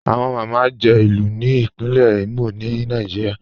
Awọ Máma jẹ̀ ilu ni Ìpínlẹ̀ Imo ni Nàìjíríà.